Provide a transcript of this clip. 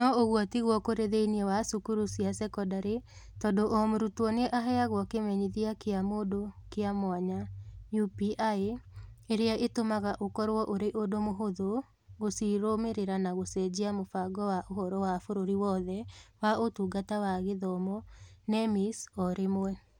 No ũguo tiguo kũrĩ thĩinĩ wa cukuru cia sekondarĩ, tondũ o mũrutwo nĩ aheagwo Kĩmenyithia kĩa mũndũ kĩa mwanya (UPI) ĩrĩa ĩtũmaga ũkorũo ũrĩ ũndũ mũhũthũ gũcirũmĩrĩra na gũcenjia Mũbango wa Ũhoro wa Bũrũri Wothe wa Ũtungata wa Gĩthomo (NEMIS) o rĩmwe.